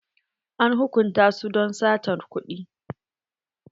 An hukunta su don satar kuɗi.